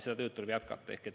Seda tööd tuleb jätkata.